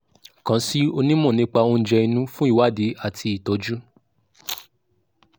kàn sí onímọ̀ nípa oúnjẹ inú fún ìwádìí àti ìtọ́jú